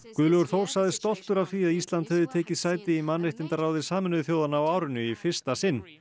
Guðlaugur Þór sagðist stoltur af því að Ísland hefði tekið sæti í mannréttindaráði Sameinuðu þjóðanna á árinu í fyrsta sinn